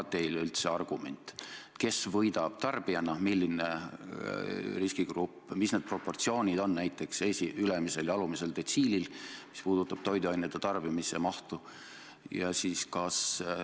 Kas see on teil üldse argument, kes võidab tarbijana, milline riskigrupp, ja millised on näiteks ülemise ja alumise detsiili proportsioonid, kui tegu on toiduainete tarbimise mahuga?